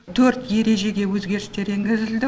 төрт ережеге өзгерістер енгізілді